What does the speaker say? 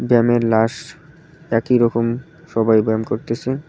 ব্যায়ামের লাস একই রকম সবাই ব্যায়াম করতেসে।